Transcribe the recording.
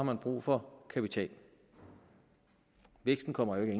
man brug for kapital væksten kommer jo ikke